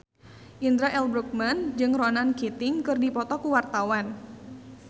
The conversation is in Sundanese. Indra L. Bruggman jeung Ronan Keating keur dipoto ku wartawan